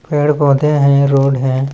पेड़- पौधे हैं रोड हैं।